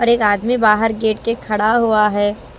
और एक आदमी बाहर गेट के खड़ा हुआ है।